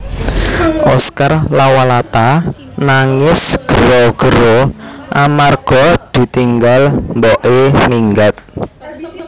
Oscar Lawalata nangis gero gero amarga ditinggal mbok e minggat